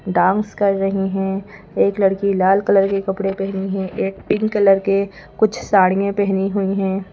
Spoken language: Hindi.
डांस कर रही हैं एक लड़की लाल कलर के कपड़े पहनी है एक पिंक कलर के कुछ साड़ियाँ पहनी हुई हैं।